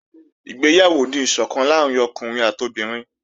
Ìgbéyàwó ni ìsọ̀kan láàrín ọkùnrin àti obìnrin